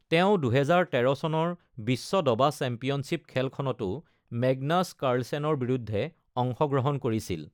তেওঁ ২০১৩ চনৰ বিশ্ব দবা চেম্পিয়নশ্বিপ খেলখনতো মেগনাছ কাৰ্লচেনৰ বিৰুদ্ধে অংশগ্ৰহণ কৰিছিল।